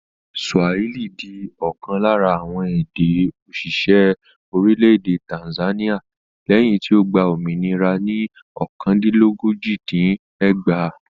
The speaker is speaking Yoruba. Swahili di ọ̀kan lára àwọn èdè-òṣìṣẹ́ orílẹ̀-èdè Tanzania lẹ́yìn tí ó gba òmìnira ní ọ̀kandínlójì-dín-ẹgbàá.